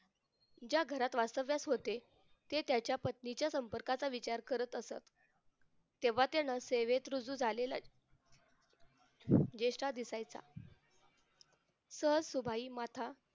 ज्या घरात वास्तव्यात होते ते त्याच्या पत्नीच्या संपर्काचा विचार करत असत तेव्हा त्यांना सेवेत रुजू झालेला जेठा दिसायचा सहज सुभाई माथा